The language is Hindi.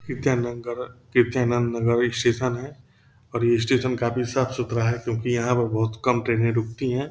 कृत्यानंगर कृत्यानंद और ये स्टेशन है और ये स्टेशन काफी साफ़-सुथरा है क्योंकि यहाँ पे काफी कम ट्रेनें रूकती हैं।